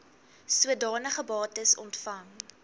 sodanige bates ontvang